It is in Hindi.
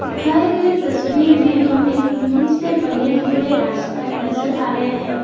दिखाएं गए तस्वीर में हमें मिट्टी से बने हुए रास्ता नजर आ रहे हैं।